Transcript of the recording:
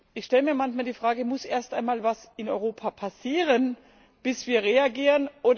Ich stelle mir manchmal die Frage Muss erst einmal etwas in Europa passieren, bevor wir reagieren?